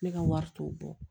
Ne ka wari t'o bɔ